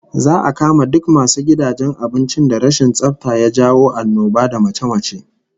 Za'a kama duk masu gidajen abincin da rashin tsafta ya jawo annoba da mace-mace